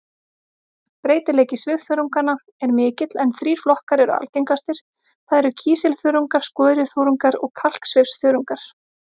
Breytileiki svifþörunganna er mikill en þrír flokkar eru algengastir, það er kísilþörungar, skoruþörungar og kalksvifþörungar.